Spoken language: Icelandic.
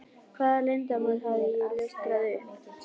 Hvaða leyndarmáli hafði ég ljóstrað upp?